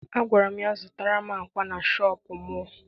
Agwara m ya zụta akwá na shọpịn mọọ!